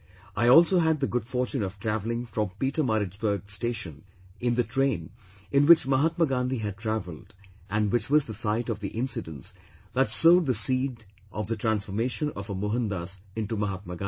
I also had the good fortune of traveling from Pietermaritzburg station in the train in which Mahatma Gandhi had travelled, and which was the site of the incidence that sowed the seed of the transformation of a Mohandas into Mahatma Gandhi